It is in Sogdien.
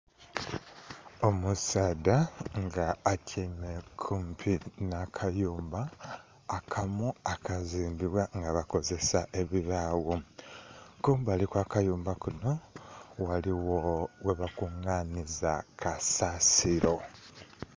Omusaadha nga atyaime kumpi nhakayumba akamu akazimbibwa nga bakozesa ebibagho, kumbali okwakayumba kunho ghaligho ghebakunganhiza kasasiro.